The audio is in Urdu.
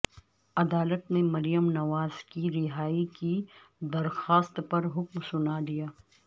عدالت نے مریم نواز کی رہائی کی درخواست پرحکم سنادیا